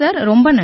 நன்றி சார்